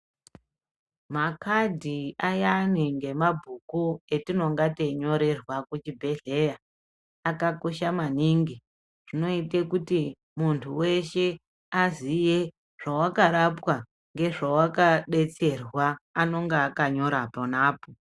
Makadhi ayani nemabhuku atinenge tichinyorerwa kuzvibhedhlera akakosha maningi zvinoita kuti muntu weshe aziye zvawakarapwa nezvawaka detsera anenge akanyora ipapo.